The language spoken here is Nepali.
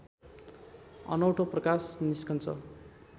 अनौठो प्रकाश निस्कन्छ